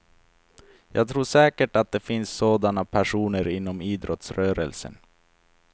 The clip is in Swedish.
Jag tror säkert att det finns sådana personer inom idrottsrörelsen.